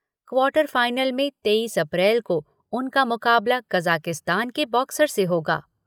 Quarter final में तेईस April को उनका मुकाबला कज़ाकिस्तान के बॉक्सर से होगा।